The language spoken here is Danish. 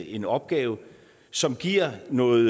en opgave som giver noget